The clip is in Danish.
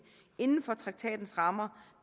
inden for traktatens rammer